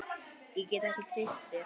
Ég get ekki treyst þér.